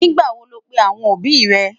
nígbà wò ló pè àwọn òbí ré?